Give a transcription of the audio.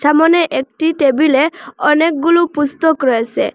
সামোনে একটি টেবিলে অনেকগুলো পুস্তক রয়েসে।